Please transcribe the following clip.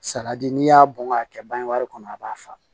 Saladi n'i y'a bɔn k'a kɛ bange wari kɔnɔ a b'a faa